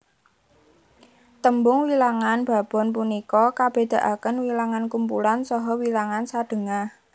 Tembung wilangan babon punika kabedakaken wilangan kumpulan saha wilangan sadhengah